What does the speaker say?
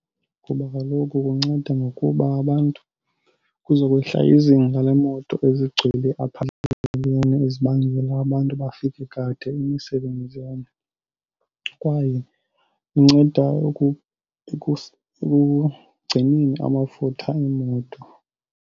Ngoba kaloku kunceda ngokuba abantu kuzokwehla izinga leemoto ezigcwele apha endleleni ezibangela abantu bafike kade emisebenzini kwaye inceda ekugcineni amafutha eemoto.